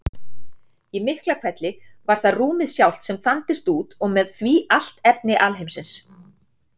Í Miklahvelli var það rúmið sjálft sem þandist út og með því allt efni alheimsins.